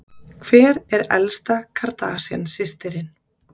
Hver er elsta Kardashian systirin?